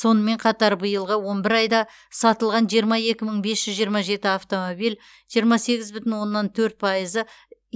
сонымен қатар биылғы он бір айда сатылған жиырма екі мың бес жүз жиырма жеті автомобиль жиырма сегіз бүтін оннан төрт пайызы